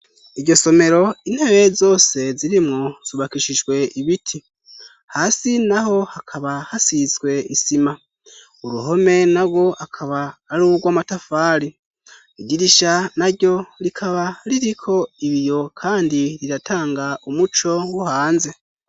Iryo somero, intebe zose zirimwo zubakishijwe ibiti. Hasi naho hakaba hasizwe isima. Uruhome narwo akaba ari urwa amatafari. Idirisha naryo rikaba ririko ibiyo kandi riratanga umuco wo hanze.